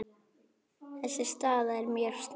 Þessi staða er mjög snúin.